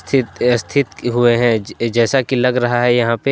चित्त स्थित किए हुए हैं जैसा की लग रहा है यहां पे।